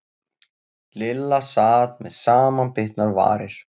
Lilla sat með samanbitnar varir.